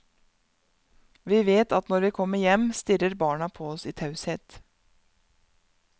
Vi vet at når vi kommer hjem, stirrer barna på oss i taushet.